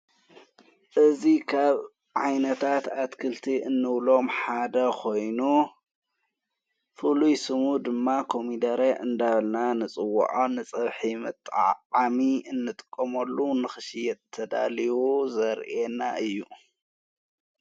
እዙ ኻብ ዓይነታት ኣትክልቲ እንብሎም ሓደ ኾይኑ ፍሉይስሙ ድማ ኾሚደረ እንዳብልና ንጽውዖ ጸብሒምጠዓሚ እንጥቆመሉ ንኽሽየጥ ተዳልዩ ዘርኤና እዩ።